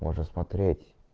можно смотреть